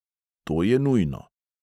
To je nujno.